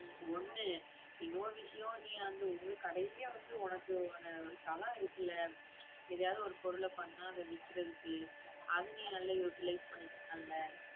ஹம் ஒண்ணு இன்னொரு விஷயம் நீ வந்து உங்க கடையிலயே வந்து உனக்கு ஒரு தலம் இருக்குல்ல எதையாவது ஒரு பொருள பண்ணா அதை விக்கிறதுக்கு அதை நீ நல்லா utilize பண்ணிக்கலாம் இல்லை